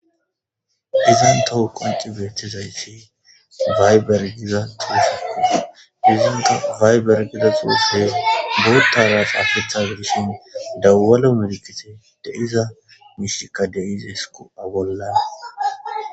Izan toho qunci beettizayfi wayber giza tuushekkos izinka wayber gida xuuse boottawa qaafetha gidishin dawalo medikite deiza mishika deize esku abollan